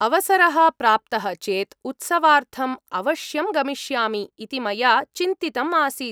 अवसरः प्राप्तः चेत् उत्सवार्थम् अवश्यं गमिष्यामि इति मया चिन्तितम् आसीत्।